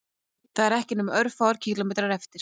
Það eru ekki nema örfáir kílómetrar eftir